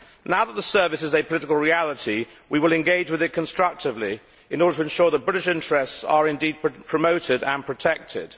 Now that the service is a political reality, we will engage with it constructively in order to ensure that British interests are indeed promoted and protected.